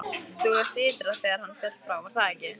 Þú varst ytra þegar hann féll frá, var það ekki?